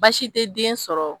Baasi te den sɔrɔ